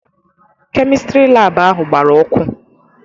Kemịstri laabụ ahụ gbara ọkụ.